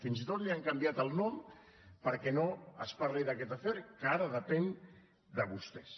fins i tot li han canviat el nom perquè no es parli d’aquest afer que ara depèn de vostès